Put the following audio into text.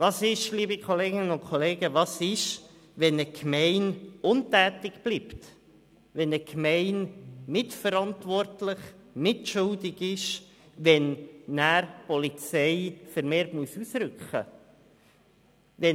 Was ist jedoch, wenn eine Gemeinde untätig bleibt, wenn sie mitverantwortlich und mitschuldig ist, dass die Polizei vermehrt ausrücken muss?